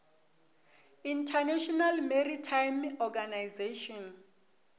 international maritime organization